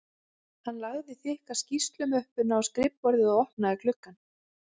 Hann lagði þykka skýrslumöppuna á skrifborðið og opnaði gluggann